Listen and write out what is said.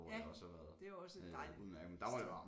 Ja det er jo også et dejligt sted